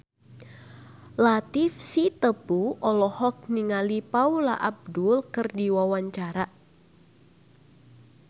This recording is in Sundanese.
Latief Sitepu olohok ningali Paula Abdul keur diwawancara